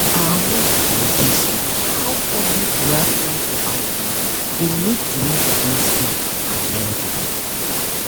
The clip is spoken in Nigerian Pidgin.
our nurse bin gist is how public reaction to outbreak dey make delivery dey safe and healthy